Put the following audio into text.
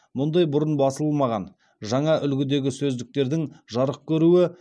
мұндай бұрын басылмаған жаңа үлгідегі сөздіктердің жарық көруі